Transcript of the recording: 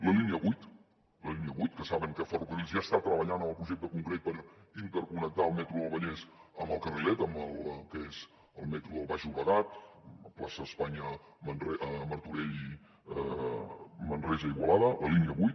la línia vuit que saben que ferrocarrils ja està treballant en el projecte concret per interconnectar el metro del vallès amb el carrilet que és el metro del baix llobregat plaça d’espanya martorell manresa i igualada la línia vuit